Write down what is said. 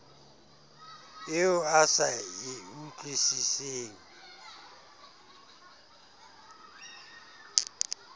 eo o sa e utlwisiseng